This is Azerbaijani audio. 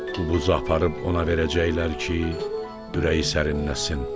Bu buzu aparıb ona verəcəklər ki, ürəyi sərinləsin.